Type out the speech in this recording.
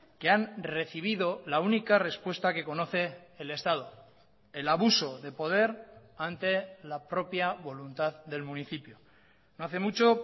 que han recibido la única respuesta que conoce el estado el abuso de poder ante la propia voluntad del municipio no hace mucho